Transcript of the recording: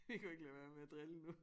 Vi kunne ikke lade være med at drille nu